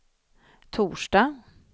torsdag